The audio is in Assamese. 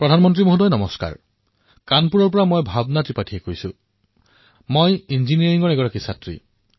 প্ৰধানমন্ত্ৰী ডাঙৰীয়া নমস্কাৰ মই কানপুৰৰ ভাৱনা ত্ৰিপাৰ্থী এগৰাকী ইঞ্জিনীয়াৰিঙৰ ছাত্ৰী